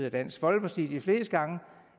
af dansk folkeparti